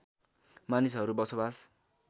मानिसहरू बसोबास